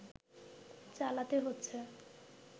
চালাতে হচ্ছে